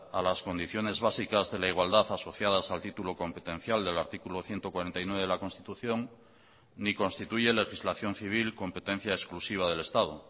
a las condiciones básicas de la igualdad asociadas al título competencial del artículo ciento cuarenta y nueve de la constitución ni constituye legislación civil competencia exclusiva del estado